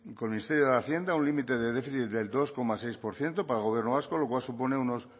el ministerio de hacienda un límite de déficit del dos coma seis por ciento para el gobierno vasco lo cual supone unos